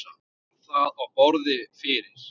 Bar það á borð fyrir